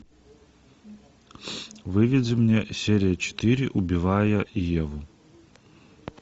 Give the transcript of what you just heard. выведи мне серия четыре убивая еву